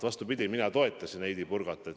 Vastupidi, mina toetasin Heidy Purgat.